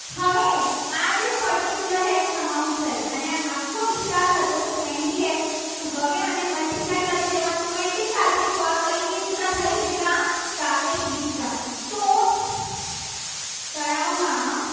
Ex amount થઈ. અને આખો વિસ્તાર હતો. અઠ્યાવીસ હવે આને multiply કરી લેવાનો point વીસ સાથે તો આ કઈ ગીચતા થઈ બેટા સાપેક્ષ ગીચતા તો તળાવમાં